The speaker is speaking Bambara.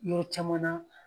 Yɔrɔ caman na.